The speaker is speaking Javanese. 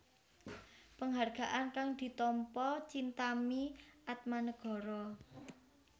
Penghargaan kang ditampa Chintami Atmanegara